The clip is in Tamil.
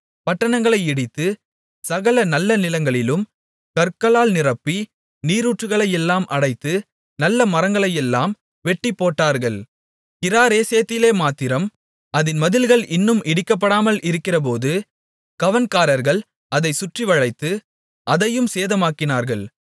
பட்டணங்களை இடித்து சகல நல்ல நிலங்களிலும் கற்களால் நிரப்பி நீரூற்றுகளையெல்லாம் அடைத்து நல்ல மரங்களையெல்லாம் வெட்டிப்போட்டார்கள் கிராரேசேத்திலே மாத்திரம் அதின் மதில்கள் இன்னும் இடிக்கப்படாமல் இருக்கிறபோது கவண்காரர்கள் அதைச் சுற்றிவளைத்து அதையும் சேதமாக்கினார்கள்